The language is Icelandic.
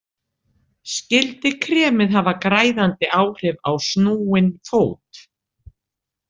Skyldi kremið hafa græðandi áhrif á snúinn fót?